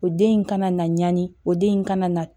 O den in kana na ɲani o den in kana na